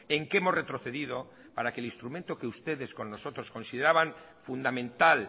en qué hemos retrocedido para que el instrumento que ustedes con nosotros consideraban fundamental